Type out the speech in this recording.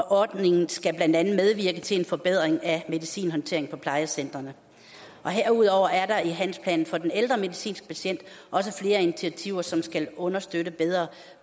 ordningen skal blandt andet medvirke til en forbedring af medicinhåndtering på plejecentrene herudover er der i handlingsplanen for den ældre medicinske patient også flere initiativer som skal understøtte bedre